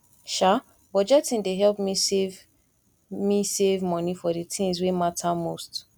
um budgeting dey help me save me save money for the things wey matter most